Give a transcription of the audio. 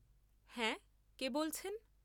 হ্যাঁ, কে বলছেন?